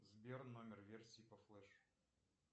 сбер номер версии по флеш